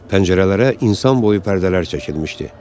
Pəncərələrə insan boyu pərdələr çəkilmişdi.